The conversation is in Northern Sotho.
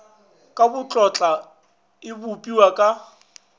ka botlotla e bopiwa ke